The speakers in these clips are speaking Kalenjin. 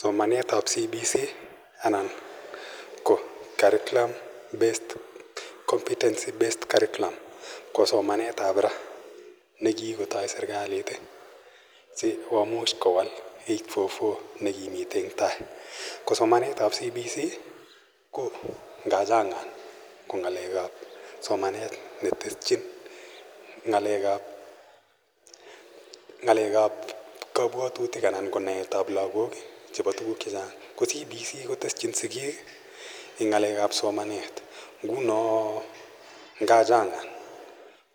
Somanet ap CBC anan ko somanetap Competency Based Curriculum ko somanet ap ra ne kikotai serkalit asikomuch kowal 8.4.4 ne kimitei eng' tai. Ko somanet ao CBC ko ngachang'an ko ng'alek ap somanet ne teschin ng'alek ap kapwatutik anan ko naet ap lagok chepa tuguuk che chang'. Ko CBC koteschin sikiik eng' ng'alek ap somanet. Nguno nga chang'an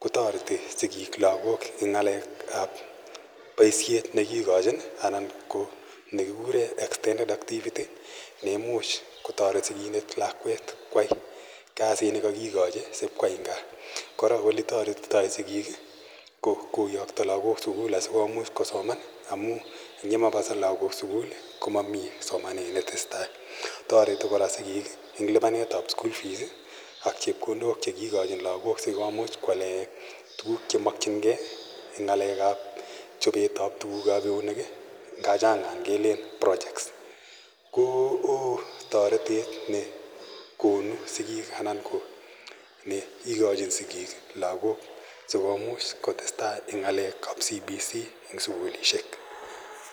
ko tareti sikiik lagok eng' ng'alek ap poishet ne kikachin anan ko ne kikure extended activity ne imuch kotaret sikindet lakwet koyai kasit ne kakikachi sip koyai eng' gaa. Kora ole taretitai sikiik ko koyakta lagok sukul asikomuch kosoman amu ang' ye ma pa lagok sukul ko mami somanet ne tese tai. Tareti kora sikiik eng' lipanetap school fees ak chepkondok che kilachin lagok asikomuch koale tuguk che makchin gei eng' ng'alek ap chopet ap tuguk ap keunek ngachang'an kelen projects. Ko oo taretet ne konu sikiik anan ko ne ikachin sikiik lagok asikomuch kotes tai eng' ng'alek ap CBC eng' sukulishek.